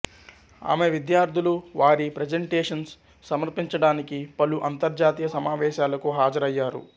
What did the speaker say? ఆమె విద్యార్థులు వారి ప్రజంటేషంస్ సమర్పించడానికి పలు అంతర్జాతీయ సమావేశాలకు హాజరయ్యారు